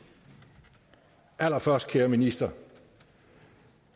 allerførst kære minister